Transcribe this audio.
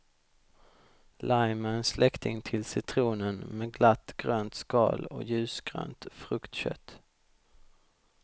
Lime är en släkting till citronen med glatt grönt skal och ljusgrönt fruktkött.